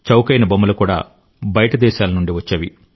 చౌకైన బొమ్మలు కూడా బయటి దేశాల నుండి వచ్చేవి